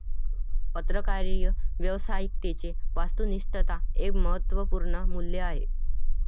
पत्रकारीय व्यावसायिकतेचे 'वास्तुनिश्तता एक महत्वपूर्ण मूल्य आहे.